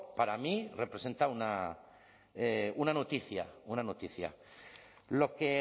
para mí representar una noticia lo que